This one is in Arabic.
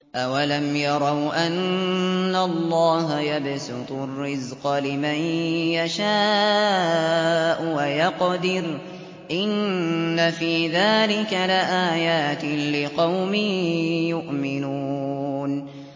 أَوَلَمْ يَرَوْا أَنَّ اللَّهَ يَبْسُطُ الرِّزْقَ لِمَن يَشَاءُ وَيَقْدِرُ ۚ إِنَّ فِي ذَٰلِكَ لَآيَاتٍ لِّقَوْمٍ يُؤْمِنُونَ